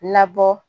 Labɔ